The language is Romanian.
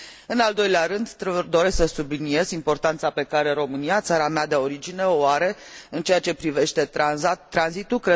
În al doilea rând doresc să subliniez importanța pe care România, țara mea de origine, o are în ceea ce privește tranzitul.